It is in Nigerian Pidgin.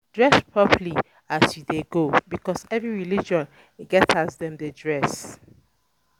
Dress properly as you de go because every religion get as um dem um de dress